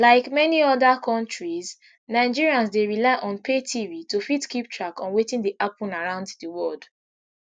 like many oda kontris nigerians dey rely on pay tv to fit keep track of wetin dey happun around di world